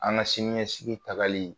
An ka siniɲɛsigi tagali